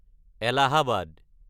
Allahabad